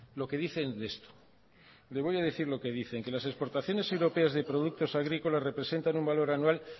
lo que dicen de esto le voy a decir lo que dicen las exportaciones europeas de productos agrícolas representan un valor anual